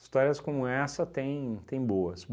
Histórias como essa tem tem boas.